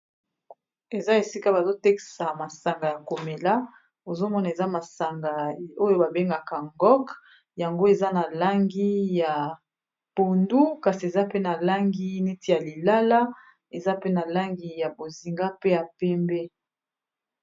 Eza esika bazo tekisa masanga ya komela ozomona eza masanga oyo ba bengaka Ngok yango eza na langi ya pondu kasi eza pe na langi neti ya lilala eza pe na langi ya bozinga pe ya pembe.